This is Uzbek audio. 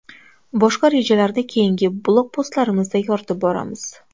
Boshqa rejalarni keyingi blogpostlarimizda yoritib boramiz.